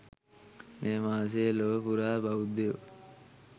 මෙම මාසය ලොව පුරා බෞද්ධයෝ